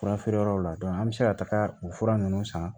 Fura feere yɔrɔw la an bɛ se ka taga o fura ninnu san